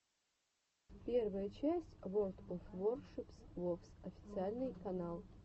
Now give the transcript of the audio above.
первая часть ворлд оф воршипс вовс официальный канал